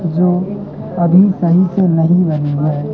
जो अभी सही से नहीं लगी है।